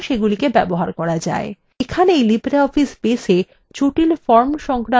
এখানেই libreoffice baseএ জটিল forms সংক্রান্ত এই tutorial সমাপ্ত হল